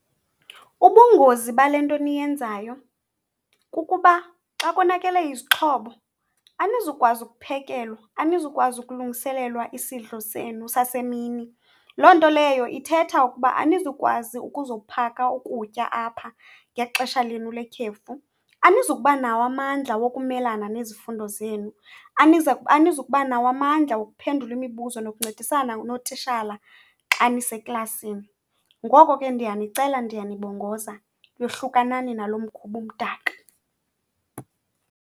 Ubungozi bale nto eniyenzayo kukuba xa konakele izixhobo anizukwazi ukuphekelwa, anizukwazi kulungiselelwa isidlo senu sasemini. Loo nto leyo ithetha ukuba anizukwazi ukuzophaka ukutya apha ngexesha lenu lekhefu. Anizukubanawo amandla wokumelana nezifundo zenu, anizi kuba nawo amandla wokuphendula imibuzo nokuncedisana nootishala xa niseklasini. Ngoko ke, ndiyanicela ndiyanibongoza yohlukanani nalo mkhuba umdaka